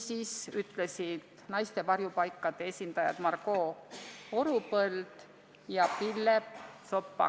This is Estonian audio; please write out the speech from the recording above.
Nii ütlesid naiste varjupaikade esindajad Margo Orupõld ja Pille Tsopp-Pagan.